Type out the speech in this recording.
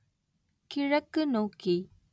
கிழக்கு நோக்கி